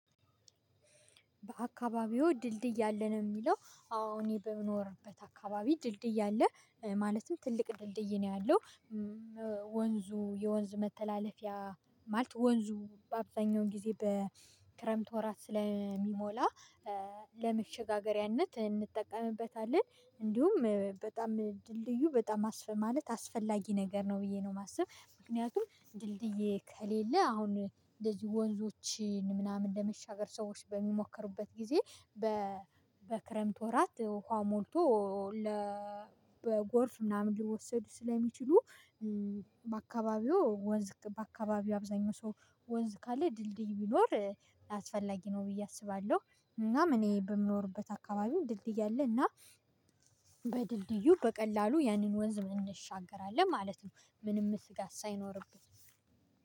በአካባቢው ድልድይ አለ ነው ሚለው አወ እኔ በምኖርበት አካባቢ ድልድይ አለ ማለትም ትልቅ ድልድይ ነው ያለው። ወንዙ የወንዝ መተላለፊያ ማለት ወንዙ በአብዛኛው ጊዜ በክረምት ወራት ስለሚሞላ ለመሸጋገሪያነት እንጠቀምበታለን። እንዲሁም በጣም ድልድዩ በጣም አስፈ ማለት አስፈላጊ ነገር ነው ብዬ ነው የማስብ። ምክንያቱም ድልድዬ ከሌለ አሁን እንደዚህ ወንዞችን ምናምን ለመሻገር ሰዎች በሚሞክሩበት ጊዜ። በክረምት ወራት ውሃ ሞልቶ ለ በጎርፍ ምናምን ሊወሰዱ ስለሚችሉ። በአካባቢው ወንዝ በአካባቢው አብዛኛው ሰው ወንዝ ካለ ድልድይ ቢኖር አስፈላጊ ነው ብዬ አስባለሁ። እናም እኔ በምኖርበት አካባቢ ድልድይ አለ አለና በድልድዩ በቀላሉ ያንን ወንዝ መነሻገርአለን ማለት ነው። ምንም ስጋት ሳይኖርብህ